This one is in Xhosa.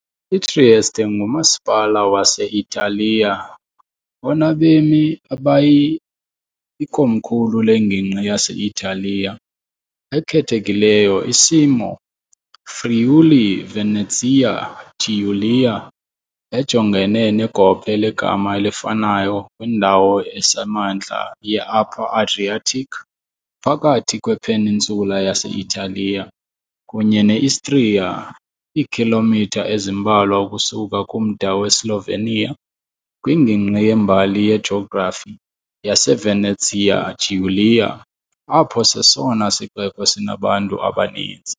I-Trieste ngumasipala wase-Italiya onabemi abayi, ikomkhulu lengingqi yase-Italiya ekhethekileyo. Isimo Friuli-Venezia Giulia, ejongene negophe legama elifanayo kwindawo esemantla ye-Upper Adriatic, phakathi kwe-peninsula yase-Italiya kunye ne-Istria, iikhilomitha ezimbalwa ukusuka kumda weSlovenia, kwingingqi yembali-yejografi yaseVenezia Giulia, apho sesona sixeko sinabantu abaninzi.